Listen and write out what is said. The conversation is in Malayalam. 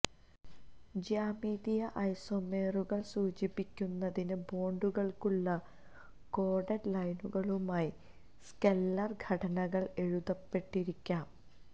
ജ്യാമിതീയ ഐസോമെറുകൾ സൂചിപ്പിക്കുന്നതിന് ബോണ്ടുകൾക്കുള്ള ക്രോഡഡ് ലൈനുകളുമായി സ്കെല്ലൽ ഘടനകൾ എഴുതപ്പെട്ടിരിക്കാം